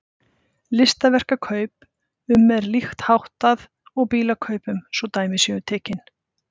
Listaverkakaup- um er líkt háttað og bílakaupum svo dæmi séu tekin.